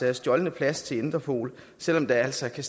af stjålne pas til interpol selv om der altså kan